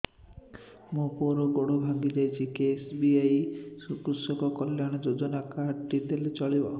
ମୋ ପୁଅର ଗୋଡ଼ ଭାଙ୍ଗି ଯାଇଛି ଏ କେ.ଏସ୍.ବି.ୱାଇ କୃଷକ କଲ୍ୟାଣ ଯୋଜନା କାର୍ଡ ଟି ଦେଲେ ଚଳିବ